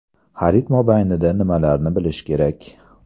Xarid mobaynida nimalarni bilish kerak?